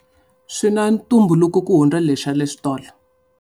Swi na ntumbuluko ku hundza le swa le xitolo.